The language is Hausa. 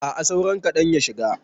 A'a saura kaɗan ya shiga.